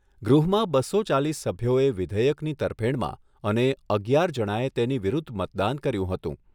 ગૃહમાં બસો ચાલીસ સભ્યોએ વિધેયકની તરફેણમાં અને અગિયાર જણાએ તેની વિરુદ્ધ મતદાન કર્યું હતું.